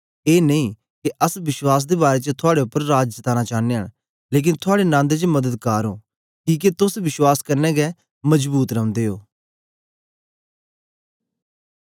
ए नेई के अस विश्वास दे बारै च थुआड़े उपर राज जताना चानयां न लेकन थुआड़े नन्द च मददगार ओं किके तोस विश्वास कन्ने गै मजबूत रौंदे ओ